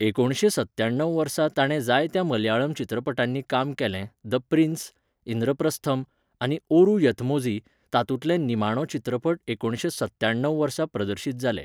एकुणशे सव्याणव वर्सा ताणें जायत्या मलयाळम चित्रपटांनी काम केलें द प्रिन्स, इंद्रप्रस्थम, आनी ओरू यथमोझी, तातूंतले निमाणो चित्रपट एकुणशे सत्याणव वर्सा प्रदर्शीत जाले.